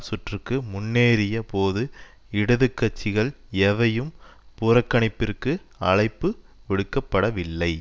சுற்றுக்கு முன்னேறிய போது இடது கட்சிகள் எவையும் புறக்கணிப்பிற்கு அழைப்பு விடுக்க படவில்லை